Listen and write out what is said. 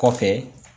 Kɔfɛ